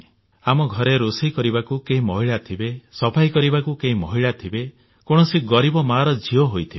ଆମ ଘରେ ରୋଷେଇ କରିବାକୁ କେହି ମହିଳା ଥିବେ ସଫାଇ କରିବାକୁ ମହିଳା ଥିବେ କୌଣସି ଗରିବ ମାର ଝିଅ ହୋଇଥିବେ